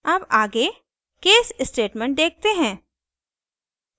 अब आगे case statement देखते हैं